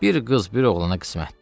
Bir qız, bir oğlana qismətdir.